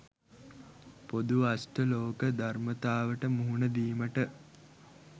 පොදු අෂ්ටලෝක ධර්මතාවට මුහුණදීමට